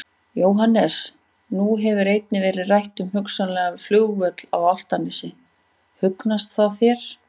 Jóhannes: Nú hefur einnig verið rætt um hugsanlegan flugvöll á Álftanes, hugnast það þér?